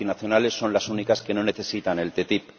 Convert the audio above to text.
Las multinacionales son las únicas que no necesitan la ATCI.